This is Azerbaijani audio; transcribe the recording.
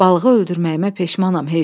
Balığı öldürməyimə peşmanam,